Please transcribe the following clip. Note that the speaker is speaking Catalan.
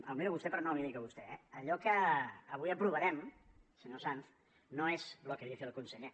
el miro a vostè però no l’hi dic a vostè eh allò que avui aprovarem senyor sanz no és lo que dice el conseller